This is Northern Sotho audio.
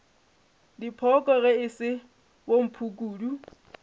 dipoko ge e se bomphukudu